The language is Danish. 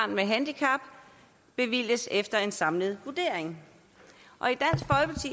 med handicap bevilges efter en samlet vurdering